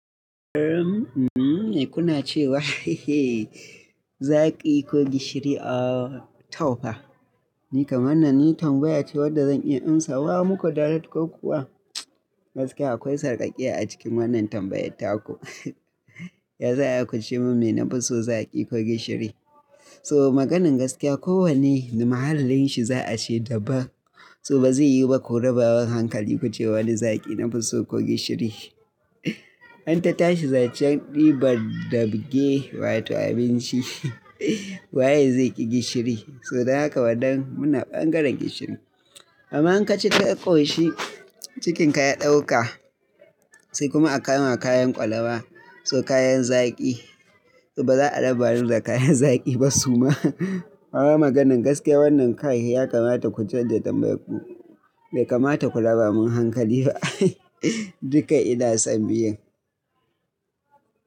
Karam, kuna cewa zaki ko gishiri, ah, tau fa. Ni kaman nan, ni tambaya ce wadda zan iya in sawa muku dalili ko kuwa? Gaskiya akwai sarƙaƙiya a cikin wannan tambayyata ku. Ya sa a ku ce min me na fi so zaki ko gishiri. So maganin gaskiya, kowane na mahallin shi za a ce daban. So ba zai yi ba ku rabawa hankali ku ce wani zaki na fi so ko gishiri. An ta tashi zancen ɗiban daɓe wato abinci, waye zai ƙi gishiri? So daga ka waɗannan muna ɓangaren gishiri. Aman ka ci ta ƙoshi, cikin ka ya ɗauka, sai kuma aka yi ma kayan ƙwalaba so kayan zaki. So ba za'a raba ni da kayan zaki ba suma. Wannan maganin gaskiya wannan kai ya kamata ku canja tambayi ku. Bai kamata ku raba min hankali ba. Duka ina son biyan.